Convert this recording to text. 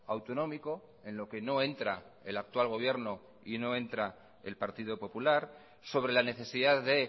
autonómico en lo que no entra el actual gobierno y no entra el partido popular sobre la necesidad de